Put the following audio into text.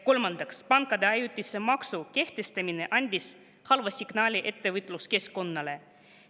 Kolmandaks, pankade ajutise maksu kehtestamine andis halva signaali ettevõtluskeskkonnale.